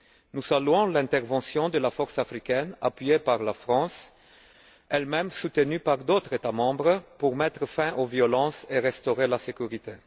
Nous saluons l'intervention de la force africaine, appuyée par la France, elle même soutenue par d'autres États membres, pour mettre fin aux violences et restaurer la sécurité.